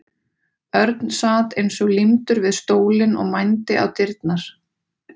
Örn sat eins og límdur við stólinn og mændi á dyrnar.